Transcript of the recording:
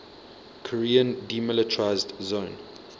korean demilitarized zone